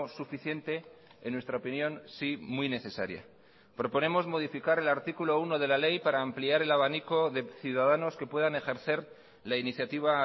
suficiente en nuestra opinión sí muy necesaria proponemos modificar el artículo uno de la ley para ampliar el abanico de ciudadanos que puedan ejercer la iniciativa